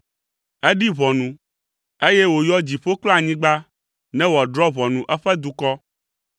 Eɖi ʋɔnu, eye wòyɔ dziƒo kple anyigba ne wòadrɔ̃ ʋɔnu eƒe dukɔ,